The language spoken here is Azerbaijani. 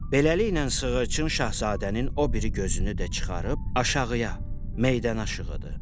Beləliklə sığırçın Şahzadənin o biri gözünü də çıxarıb aşağıya, meydanaşığıdı.